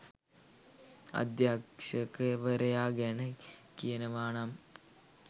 අධ්‍යක්ෂකවරයා ගැන කියනවානම්